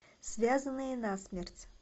связанные насмерть